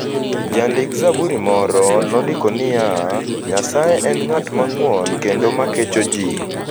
Jandik - zaburi moro nondiko niya: "Nyasaye en ng'at mang'won kendo ma kecho ji.